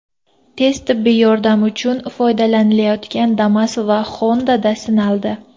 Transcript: Tez tibbiy yordam uchun foydalanilayotgan Damas va Honda’da sinaldi.